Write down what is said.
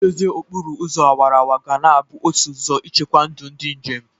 Ị dozie okporo ụzọ awaraawara ga na-abụ otu ụzọ ichekwa ndụ ndị njem.